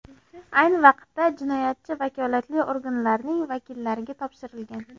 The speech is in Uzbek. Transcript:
Ayni vaqtda jinoyatchi vakolatli organlarning vakillariga topshirilgan.